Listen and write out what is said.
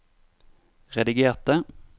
redigerte